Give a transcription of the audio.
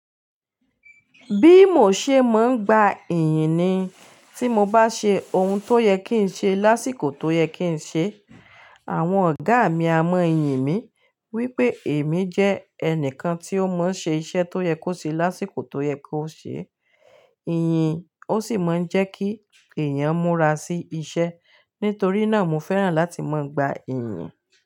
Bí mò ṣe mọ gba ìyìn ni tí mo bá ṣe ohun tó yẹ kí n ṣe lásìkò tó yẹ kí n ṣe. Àwọn ọ̀gá mi a mọ yìn mi wípé èmi jẹ́ ẹnìkan tí ó mọ ṣe iṣẹ́ tó yẹ kó ṣe lásìkò tó yẹ kó ṣe. Ìyìn ó sì máa ń jẹ́ kí èèyàn múra sí iṣẹ́. Nítorí náà, mo fẹ́ràn láti mọ gba ìyìn.